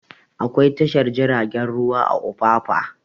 Akwai tashar jiragen ruwa a opapa